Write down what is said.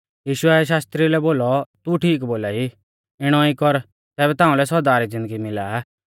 यीशुऐ शास्त्री लै बोलौ तू ठीक बोलाई इणौ ई कर तैबै ताउंलै सौदा री ज़िन्दगी मिला आ